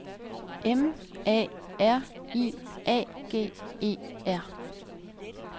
M A R I A G E R